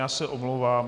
Já se omlouvám.